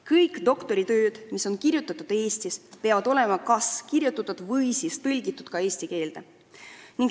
Kõik doktoritööd, mis on kirjutatud Eestis, peavad olema kas kirjutatud eesti keeles või siis tõlgitud eesti keelde.